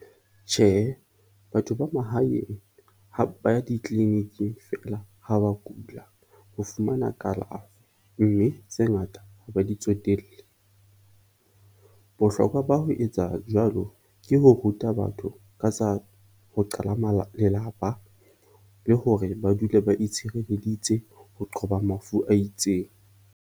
Tjhehe, batho ba mahaeng ba ya di-clinic-ing feela ha ba kula ho fumana kalafo, mme tse ngata ha ba di tsotelle. Bohlokwa ba ho etsa jwalo ke ho ruta batho ka tsa ho qala lelapa, le hore ba dule ba itshirelleditse ho qoba mafu a itseng.